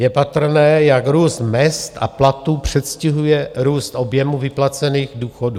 Je patrné, jak růst mezd a platů předstihuje růst objemu vyplacených důchodů.